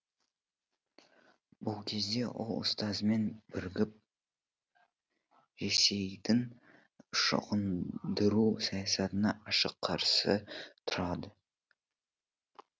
бұл кезде ол ұстазымен бірігіп ресейдің шоқындыру саясатына ашық қарсы тұрады